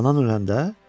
Anan öləndə,